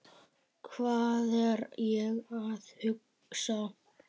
Hvað er ég að hugsa?